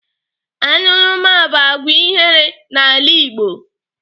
Añụrụma bụ àgwà ihere n'ala Igbo.